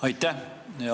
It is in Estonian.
Aitäh!